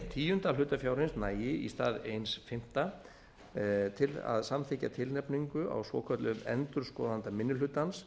tíundi af hlutafjárins nægi í stað einn fimmti til að samþykkja tilnefningu á svokölluðum endurskoðanda minni hlutans